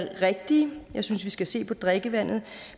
rigtige jeg synes at vi skal se på drikkevandet